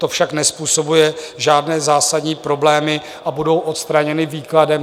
To však nezpůsobuje žádné zásadní problémy a budou odstraněny výkladem.